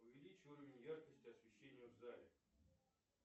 увеличь уровень яркости освещения в зале